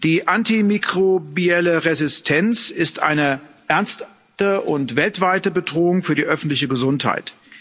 Die antimikrobielle Resistenz ist eine ernste und weltweite Bedrohung für die öffentliche Gesundheit.